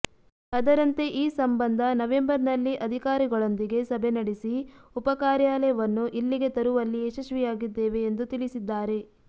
ಅದರಂತೆ ಈ ಸಂಬಂಧ ನವೆಂಬರ್ನಲ್ಲಿ ಅಧಿಕಾರಿಗಳೊಂದಿಗೆ ಸಭೆ ನಡೆಸಿ ಉಪಕಾರ್ಯಾಲಯವನ್ನು ಇಲ್ಲಿಗೆ ತರುವಲ್ಲಿ ಯಶಸ್ವಿಯಾಗಿದ್ದೇವೆ ಎಂದು ತಿಳಿಸಿದ್ದಾರೆ